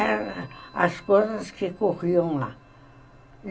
Eram as coisas que corriam lá.